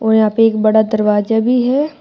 और यहां पे एक बड़ा दरवाजा भी है।